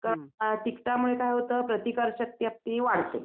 अ तिखटामूळे काय होतं प्रतिकारशक्ती आपली वाढते.